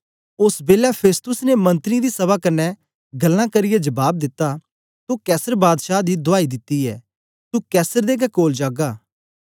ओस बेलै फेस्तुस ने मंत्रीयें दी सभा कन्ने गल्लां करियै जबाब दिता तो कैसर बादशाह दी दुआई दिती ऐ तू कैसर दे गै कोल जागा